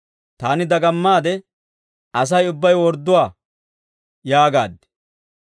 Taani dagamaade, «Asay ubbay wordduwaa» yaagaad.